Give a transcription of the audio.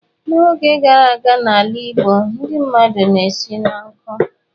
N'oge gara aga n'ala Igbo, ndị mmadụ na-esi n'nku.